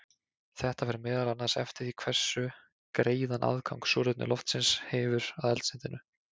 Þetta fer meðal annars eftir því hversu greiðan aðgang súrefni loftsins hefur að eldsneytinu.